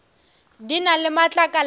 di na le matlakala a